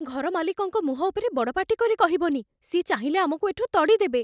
ଘରମାଲିକଙ୍କ ମୁଁହ ଉପରେ ବଡ଼ପାଟି କରି କହିବନି । ସିଏ ଚାହିଁଲେ ଆମକୁ ଏଠୁ ତଡ଼ିଦେବେ ।